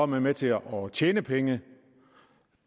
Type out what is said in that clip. man med til at tjene penge